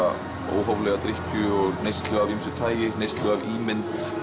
óhóflega drykkju og neyslu af ýmsu tagi neyslu á ímynd